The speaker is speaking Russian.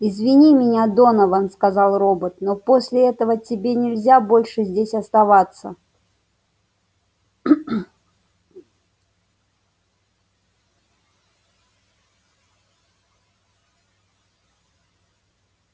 извини меня донован сказал робот но после этого тебе нельзя больше здесь оставаться